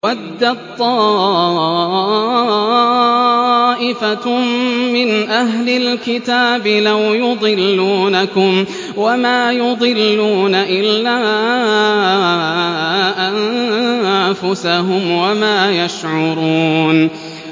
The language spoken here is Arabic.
وَدَّت طَّائِفَةٌ مِّنْ أَهْلِ الْكِتَابِ لَوْ يُضِلُّونَكُمْ وَمَا يُضِلُّونَ إِلَّا أَنفُسَهُمْ وَمَا يَشْعُرُونَ